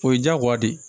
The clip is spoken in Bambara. O ye diyagoya de ye